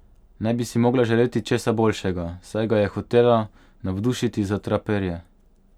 Ne bi si mogla želeti česa boljšega, saj ga je hotela navdušiti za traperje.